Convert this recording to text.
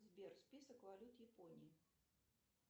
сбер список валют японии